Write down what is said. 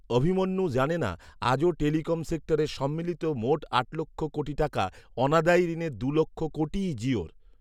অভিমন্যু জানে না, আজও টেলিকম সেক্টরের সম্মিলিত মোট আট লক্ষ কোটি টাকা অনাদায়ী ঋণের দু লক্ষ কোটিই জিওর